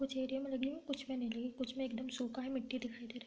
कुछ एरिया में लगी हुई हैं कुछ में नहीं लगी कुछ में एकदम सुखा है मिट्टी दिखाई दे रहा --